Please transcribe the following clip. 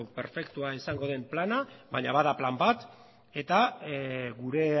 perfektua izango den plana baina bada plan bat eta gure